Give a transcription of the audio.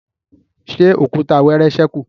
ṣe Òkúta wẹẹrẹ sẹku?